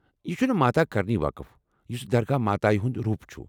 یہ چُھنہٕ ماتا کرنی وقف، یُسہٕ دَرگا ماتایہِ ہُنٛد روٗپ چُھ؟